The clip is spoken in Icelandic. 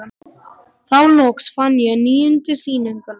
Þá loks fann ég níundu sýninguna.